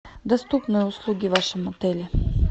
доступные услуги в вашем отеле